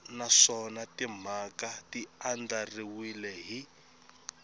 naswona timhaka ti andlariwile hi